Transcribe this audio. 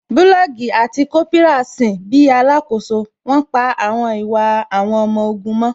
Bulọọgi àti Kópírà sin bíi alakoso, wón pa àwọn ìwà àwọn ọmọ ogun mọ́